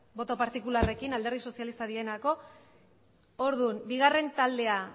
boto partikularrekin alderdi sozialistarenak direlako orduan bigarren taldea